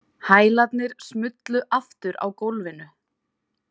Hælarnir smullu aftur á gólfinu.